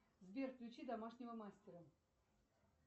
сбер включи домашнего мастера